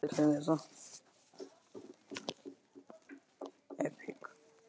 Gjörðu svo vel og fáðu þér korn í nefið.